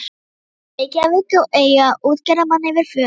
í Reykjavík og eiga útgerðarmann fyrir föður.